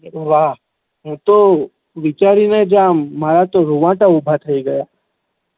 વાહ હુ તો વિચારી ને જ આમ મારા તો રુવાડા ઉભા થઇ ગયા